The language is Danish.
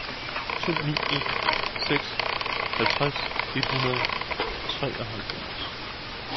to ni en seks halvtreds et hundrede og treoghalvfjerds